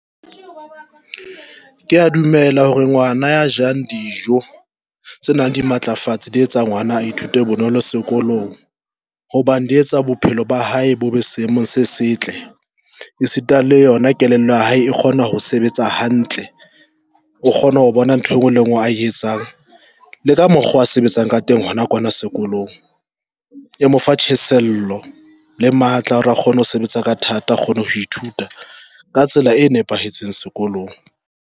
Ke ya dumela hore ngwana ya jang dijo tse nang di matlafatse di etsa ngwana a ithute bonolo sekolong hobane di etsa bophelo ba hae bo be seemong se setle. E sita le yona kelello ya hae e kgona ho sebetsa hantle, o kgona ho bona ntho engwe le ngwe a etsang le ka mokgwa a sebetsang ka teng hona kwana sekolong e mo fa tjhesehelo le matla a kgone ho sebetsa ka thata, a kgone ho ithuta ka tsela e nepahetseng sekolong.